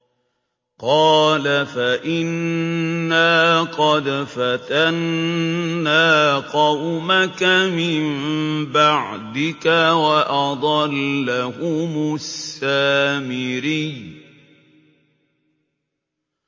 قَالَ فَإِنَّا قَدْ فَتَنَّا قَوْمَكَ مِن بَعْدِكَ وَأَضَلَّهُمُ السَّامِرِيُّ